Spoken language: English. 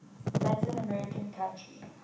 latin american country